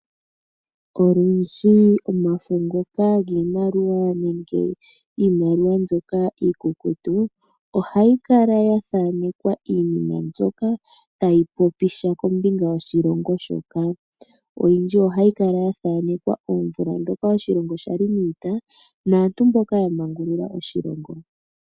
Olundji omafo ngoka giimaliwa nenge iimaliwa mbyoka iikukutu ohayi kala ya thanekwa iinima mbyoka tayi popi sha kombinga yoshilongo shoka. Oyindji ohayi kala ya thanekwa omvula ndhoka oshilongo sha li niita naantu mboka ya mangulula oshilongo.